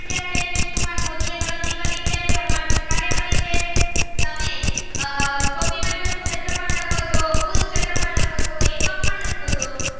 દેવાંગ મોદી એ ગણતરી કરી છે પરમાર એ કરી છે તમે આહ ટોપી માટેનું શેત્રફ્ળ લખો ચો કુલ શેત્રફ્ળ લખો છો એમ પણ લખો ચો.